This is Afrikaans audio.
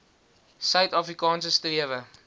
suid afrikaanse strewe